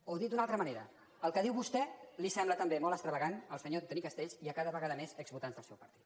o dit d’una altra manera el que diu vostè li sembla també molt extravagant al senyor antoni castells i a cada vegada més exvotants del seu partit